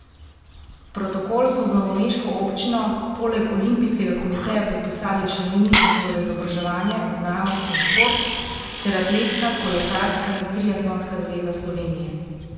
Protokol so z novomeško občino poleg olimpijskega komiteja podpisali še ministrstvo za izobraževanje, znanost in šport ter atletska, kolesarska in triatlonska zveza Slovenije.